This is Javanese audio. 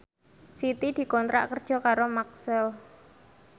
Siti dikontrak kerja karo Maxell